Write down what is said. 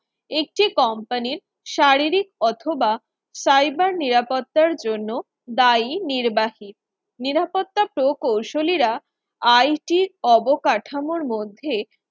একটি company র শারীরিক অথবা cyber নিরাপত্তার জন্য দায়ী নির্বাচিত নিরাপত্তা প্রকৌশলীরা IT র অবকাঠামোর মধ্যে